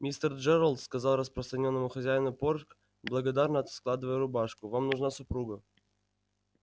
мистер джералд сказал расстроенному хозяину порк благодарно складывая рубашку вам нужна супруга